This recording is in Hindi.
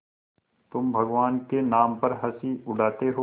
तुम भगवान के नाम पर हँसी उड़ाते हो